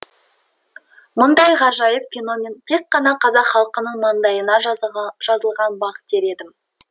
мұндай ғажайып феномен тек қана қазақ халқының маңдайына жазылған бақ дер едім